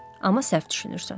Amma səhv düşünürsən.